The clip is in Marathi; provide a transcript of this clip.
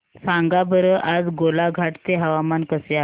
सांगा बरं आज गोलाघाट चे हवामान कसे आहे